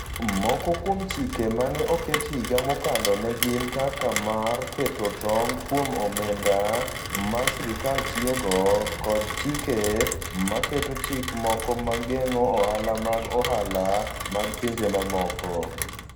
Moko kuom chike ma ne oket higa mokalo ne gin kaka mar keto tong ' kuom omenda ma sirkal tiyogo, kod chike ma keto chike moko ma geng'o ohala mag ohala mag pinje mamoko.